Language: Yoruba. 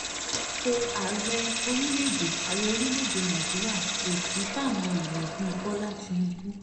ipò ààrẹ orílẹ̀‐èdè ààrẹ orílẹ̀‐èdè nàíjíríà kò sì fáwọn èèyàn bíi bọ́lá tìǹbù